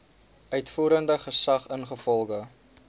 uitvoerende gesag ingevolge